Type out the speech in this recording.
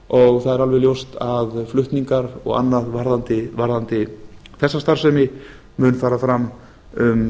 og það er alveg ljóst að flutningar og annað varðandi þessa starfsemi mun fara fram um